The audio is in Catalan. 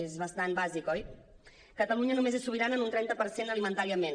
és bastant bàsic oi catalunya només és sobirana en un trenta per cent alimentàriament